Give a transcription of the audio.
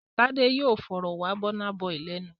Tádé yóò fọ̀rọ̀ wá Burna Boy lẹ́nu!